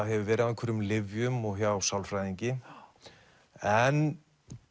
hefur verið á einhverjum lyfjum og hjá sálfræðingi en